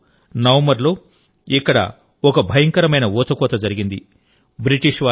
1913నవంబర్ లో ఇక్కడ ఒక భయంకరమైన ఊచకోత జరిగింది